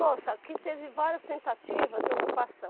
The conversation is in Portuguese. Nossa, aqui teve várias tentativas de ocupação.